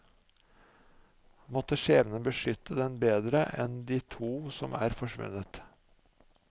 Måtte skjebnen beskytte den bedre enn de to som er forsvunnet.